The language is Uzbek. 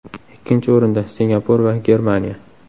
Ikkinchi o‘rinda – Singapur va Germaniya.